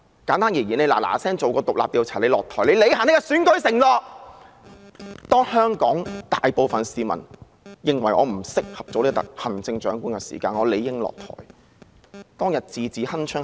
簡單而言，她應趕緊進行獨立調查，然後下台，履行她的選舉承諾："當香港大部分市民認為我不適合做行政長官時，我理應下台"。